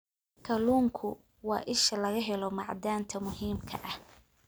Kalluunku waa isha laga helo macdanta muhiimka ah.